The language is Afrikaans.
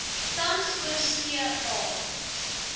tans oorsee a